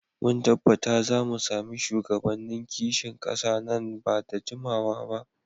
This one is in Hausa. Mun tabbata za mu sami shugabannin kishin kasa nan ba da jimawa ba.